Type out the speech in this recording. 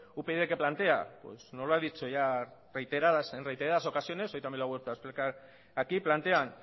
upyd qué plantea nos lo ha dicho ya reiteradas ocasiones hoy también lo ha vuelto a explicar aquí plantean